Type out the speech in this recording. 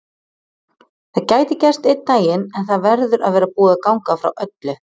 Það gæti gerst einn daginn en það verður að vera búið að ganga frá öllu.